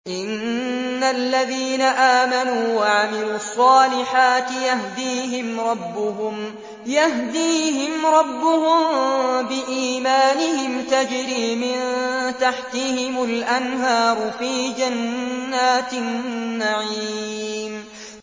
إِنَّ الَّذِينَ آمَنُوا وَعَمِلُوا الصَّالِحَاتِ يَهْدِيهِمْ رَبُّهُم بِإِيمَانِهِمْ ۖ تَجْرِي مِن تَحْتِهِمُ الْأَنْهَارُ فِي جَنَّاتِ النَّعِيمِ